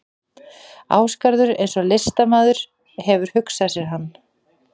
Ásgarður eins og listamaður hefur hugsað sér hann.